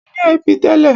Ó ní ẹbí tẹ́lẹ̀.